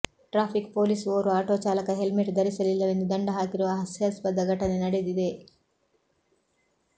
traffic police ಓರ್ವ auto ಚಾಲಕ helmet ಧರಿಸಲಿಲ್ಲವೆಂದು ದಂಡ ಹಾಕಿರುವ ಹಾಸ್ಯಾಸ್ಪದ ಘಟನೆ ನಡೆದಿದೆ